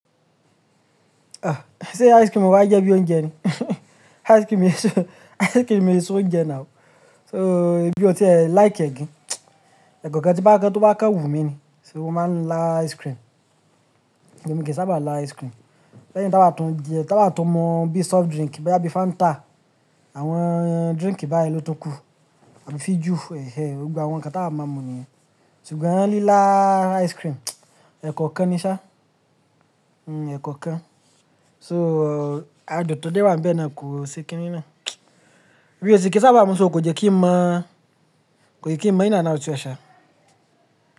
Ṣé ice cream wà jẹ́ bí ouńjẹ ni? Ice cream e se, ice cream e ṣe ouńjẹ now. So èmi ò tí ẹ like ẹ gan, ẹ̀ekọ̀okan tí n bá kán tó bá kán wù mí ni. Ṣé o máa ń lá ice cream? Èmi kì í sábà lá ice cream. Lẹ́yìn táa bá tún jẹ, táa bá tún mọ bí soft drink boyá bí Fanta, àwọn drink báyìí ló tun kú. Àbí fijù ẹhẹh, gbogbo àwọn nǹkan tá wa máa mu nìyẹn. Ṣùgbọ́n lílá ice cream, ẹ̀ekọ̀okan ni ṣá. Eẹ̀kọ̀okan. So ádun tọ́ dé wá ń bẹ́ ẹ náà ko se kíní náà. Emí è sì kíi sábà mú so kò jẹ́ kí ń mọ̀, kò jẹ́ kí ń mọ̀ in ánd out e ṣá.